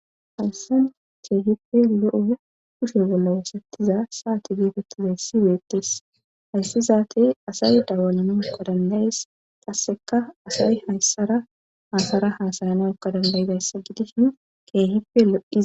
haysan keehife lo7o kushe bolla wusettiza saati geefettizay sibeettes hayssi zaati asay dawalana uqo dandayes qasseka asay hayssara haasara haasayana ukqa dandayidayssa gidishin keehife lo7dhi